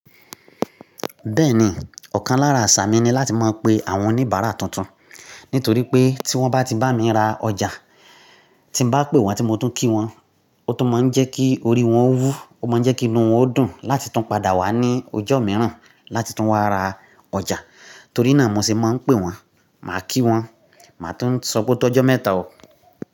Bẹ́ẹ̀ni, ọ̀kan lára àṣà mi ni láti máa pe àwọn oníbàárà tuntun. Nítorí pé tí wọ́n bá ti bá mi ra ọjà, tí nbá pè wọ́n tí mo tún kí wọ́n, ó tún máa ń jẹ́ kí orí wọn wú, ó máa ń jẹ́ kí inú wọn dùn láti tún padà wá ní ọjọ́ mìíràn láti tún wá ra ọjà. Torí náà mo sì máa ń pè wọ́n, màá kí wọ́n, màá tún sọ pé otọ́jọ́ mẹ́ta o.